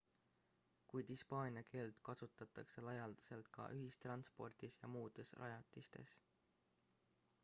kuid hispaania keelt kasutatakse laialdaselt ka ühistranspordis ja muudes rajatistes